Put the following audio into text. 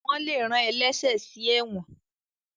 wón lè rán ẹlẹṣẹ sí èwòn.